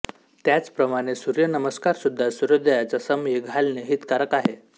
त्याचप्रमाणे सूर्य नमस्कारसुद्धा सूर्योदयाच्या समयी घालणे हितकारक आहे